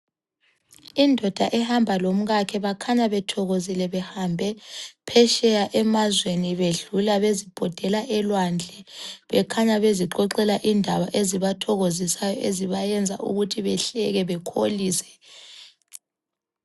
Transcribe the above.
Indoda ehamba lo mkakhe bakhanya bethokozile behambe phetsheya emazweni bedlula bezibhodela elwandle. Bekhanya bezixoxela indaba ezibathokozisayo ezibayenza ukuthi behleke bekholise.